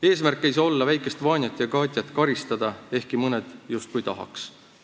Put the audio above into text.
Eesmärk ei saa olla väikest Vanjat ja Katjat karistada ehkki mõned justkui tahaks.